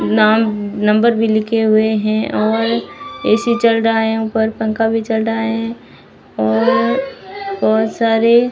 नाम नंबर भी लिखे हुए है और ए_सी चल रहा है ऊपर पंखा भी चल रहा है और बहोत सारे--